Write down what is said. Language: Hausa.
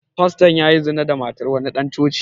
Fastan ya yi zina da matar wani ɗan coci